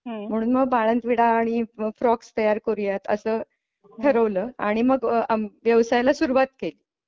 म्हणून मग बाळंत विडा आणि फ्रॉक तयार करूयात असं ठरवलं आणि मग व्यवसायाला सुरुवात केली.